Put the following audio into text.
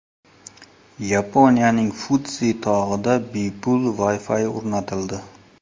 Yaponiyaning Fudzi tog‘ida bepul Wi-Fi o‘rnatildi.